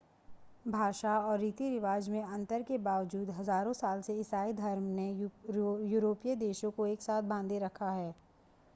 भाषा और रीति-रिवाज़ में अंतर के बावजूद हज़ारों सालों से ईसाई धर्म ने यूरोपीय देशों को एक साथ बांधे रखा है